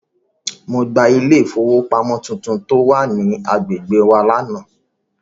Mo gba ilé ìfowópamọ́ tuntun tó wà ní agbègbè wa lánàá.